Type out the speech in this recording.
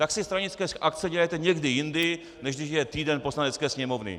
Tak si stranické akce dělejte někdy jindy, než když je týden Poslanecké sněmovny.